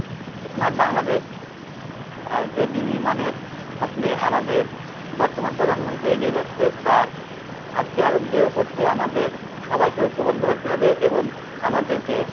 smart Bangladesh আহ যে বিনির্মাণের স্বপ্নে আমাদের বর্তমান প্রজন্ম যে এগিয়ে যাচ্ছে তার হাতকে আরো দৃঢ় করতে আমাদের সবাইকে ঐক্যবদ্ধ হতে হবে এবং আমাদেরকে